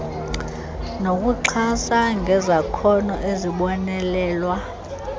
nokuxhasa ngezakhono ezibonelelwa